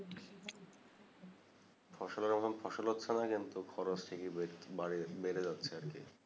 ফসল আর মতো ফসল হচ্চে না কিন্তু খরচ ঠিকই বে বাড়িয়ে বেড়ে যাচ্ছেআর কি